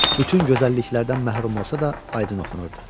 Bütün gözəlliklərdən məhrum olsa da aydın oxunurdu.